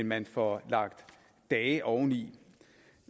man får lagt dage oveni